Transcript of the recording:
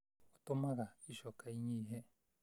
ũtũmaga ĩcoka ĩnyihe